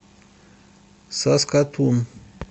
саскатун